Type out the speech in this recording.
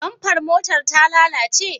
Bamfar motar ta lalace?